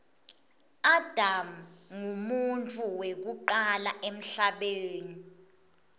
adam nqumuntfu wekucala emhlabeni